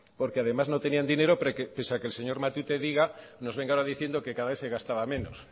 porque además no tenían dinero pese que el señor matute diga nos vengan ahora diciendo que cada vez se gastaba menos